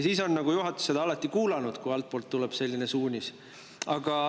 Siis on juhatus alati kuulanud seda altpoolt tulnud suunist.